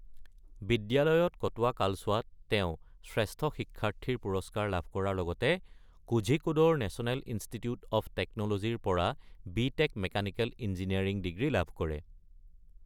বিদ্যালয়ত কটোৱা কালছোৱাত তেওঁ শ্ৰেষ্ঠ শিক্ষাৰ্থীৰ পুৰস্কাৰ লাভ কৰাৰ লগতে কোঝিকোডৰ নেচনেল ইনষ্টিটিউট অৱ টেকন’ল’জীৰ পৰা B tech mechanical engineering degree লাভ কৰে।